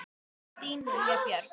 Þín Lilja Björg.